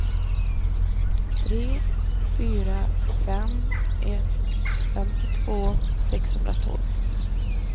tre fyra fem ett femtiotvå sexhundratolv